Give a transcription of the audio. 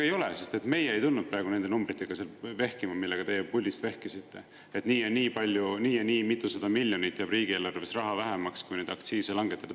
Ei ole, sest meie ei tundnud praegu nende numbritega vehkima, millega teie puldist vehkisite, et nii ja nii palju, nii ja nii mitu miljonit jääb riigieelarves raha vähemaks, kui neid aktsiise langetada.